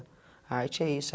A arte é isso.